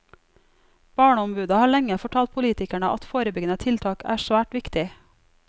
Barneombudet har lenge fortalt politikerne at forebyggende tiltak er svært viktig.